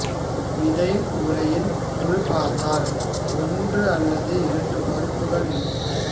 விதை உரையின் உள்பார்த்தால் ஓன்று அல்லது இரண்டு பருப்புகள் இருக்கும்